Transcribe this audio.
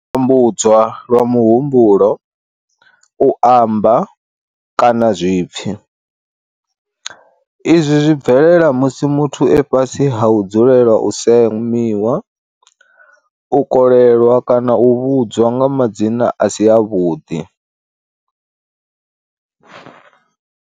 U tambudzwa lwa muhumbulo, u amba, kana zwipfi. Izwi zwi bvelela musi muthu e fhasi ha u dzulela u semiwa, u kolelwa kana u vhudzwa nga madzina a si a vhuḓi.